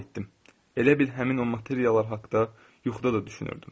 Elə bil həmin o materiallar haqda yuxuda da düşünürdüm.